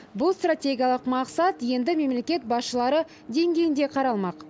бұл стратегиялық мақсат енді мемлекет басшылары деңгейінде қаралмақ